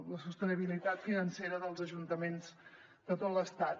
la sostenibilitat financera dels ajuntaments de tot l’estat